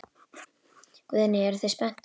Guðný: Eruð þið spenntir?